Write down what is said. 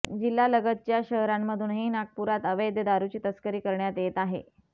जिल्ह्यालगतच्या शहरांमधूनही नागपुरात अवैध दारुची तस्करी करण्यात येत आहे